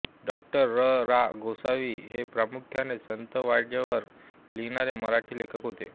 डाॅ र रा गोसावी हे प्रामुख्याने संत वाङ्मयावर लिहिणारे मराठी लेखक होते